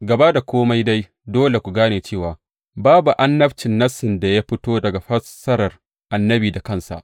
Gaba da kome dai, dole ku gane cewa babu annabcin Nassin da ya fito daga fassarar annabi da kansa.